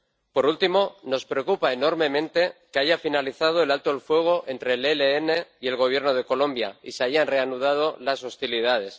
Por último, nos preocupa enormemente que haya finalizado el alto el fuego entre el ELN y el Gobierno de Colombia y se hayan reanudado las hostilidades.